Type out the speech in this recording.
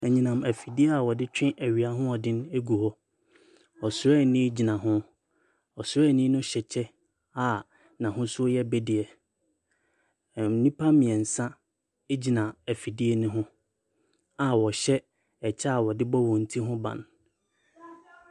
Anyinam afidie a wɔde twe anyinam ahoɔden egu hɔ. Ɔsraani gyina ho. Ɔsraani no hyɛ kyɛ a n'ahosuo yɛ bideɛ. Nnipa mmiɛnsa egyina afidie no a wɔhyɛ ɛkyɛ wɔde bɔ wɔn ti ho ban.